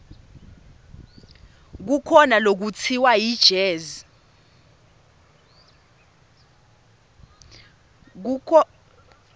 kukhona lekutsiwa yijezi